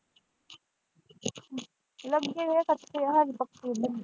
ਲੱਗੇ ਹੈ ਕੱਚੇ ਹੈ ਅਜੇ ਪੱਕੇ ਨਹੀਂ।